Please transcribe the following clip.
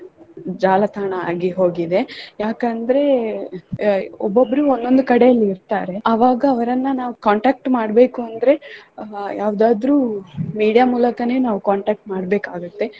ಜಾಲತಾಣ ಆಗಿ ಹೋಗಿದೆ ಯಾಕಂದ್ರೆ ಒಬ್ಬೊಬ್ಬರು ಒಂದೊಂದು ಕಡೆಯಲ್ಲಿ ಇರ್ತಾರೆ ಅವಾಗ ಅವರನ್ನ ನಾವು contact ಮಾಡ್ಬೇಕು ಅಂದ್ರೆ ಅಹ್ ಯಾವುದಾದರೂ media ಮೂಲಕನೆ ನಾವು contact ಮಾಡ್ಬೇಕ್ ಆಗತ್ತೆ.